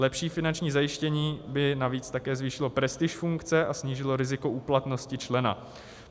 Lepší finanční zajištění by navíc také zvýšilo prestiž funkce a snížilo riziko úplatnosti člena.